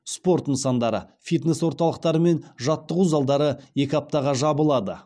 спорт нысандары фитнес орталықтары мен жаттығу залдары екі аптаға жабылады